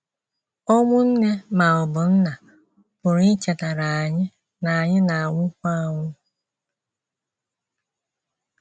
Ọnwụ nne ma ọ bụ nna pụrụ ichetara anyị na anyị na - anwụkwa anwụ.